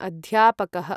अध्यापकः